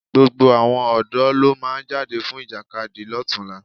Gbogbo àwọn ọ̀dọ́ ló máa jáde fún Ìjàkadì lọ́tunla